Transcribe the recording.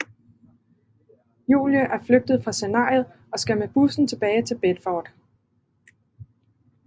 Julie er flygtet fra scenariet og skal med bussen tilbage til Bedford